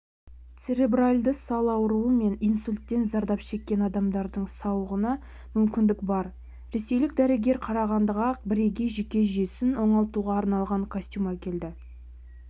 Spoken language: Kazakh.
церебральды сал ауруы мен инсульттен зардап шеккен адамдардың сауығуына мүмкіндік бар ресейлік дәрігер қарағандыға бірегей жүйке жүйесін оңалтуға арналған костюм әкелді